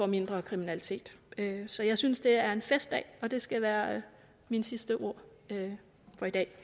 mindre kriminalitet så jeg synes det er en festdag og det skal være mine sidste ord i dag